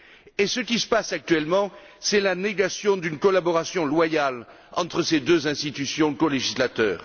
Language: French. Et ce qui se passe actuellement, c'est la négation d'une collaboration loyale entre ces deux institutions colégislatrices.